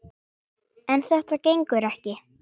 En þetta gengur ekki!